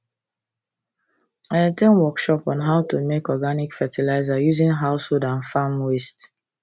i at ten d workshop on how to make organic fertiliser using household and farm waste